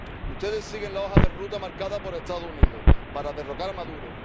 Ustedes siguen la hoja de ruta marcada por los Estados Unidos para derrocar a Maduro.